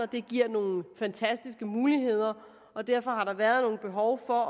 det giver nogle fantastiske muligheder og derfor har der været nogle behov for